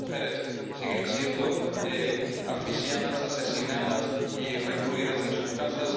las mujeres siguen siendo asfixiadas, asesinadas y recluidas en sus casas